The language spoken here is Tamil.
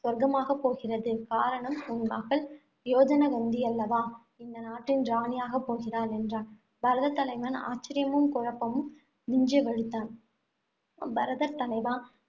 சொர்க்கமாகப் போகிறது. காரணம் உன் மகள் யோஜனகந்தியல்லவா இந்த நாட்டின் ராணியாகப் போகிறாள் என்றான். பரதர் தலைவன் ஆச்சரியமும், குழப்பமும் விஞ்ச விழித்தான். பரதர் தலைவா